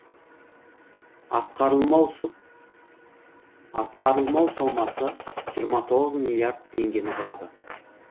атқарылмау сомасы жиырма тоғыз миллиард теңгені құрады